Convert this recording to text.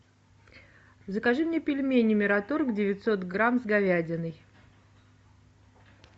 закажи мне пельмени мираторг девятьсот грамм с говядиной